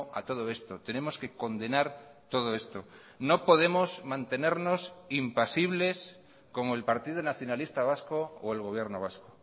a todo esto tenemos que condenar todo esto no podemos mantenernos impasibles como el partido nacionalista vasco o el gobierno vasco